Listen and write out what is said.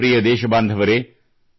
ನನ್ನ ಪ್ರಿಯ ದೇಶಬಾಂಧವರೆ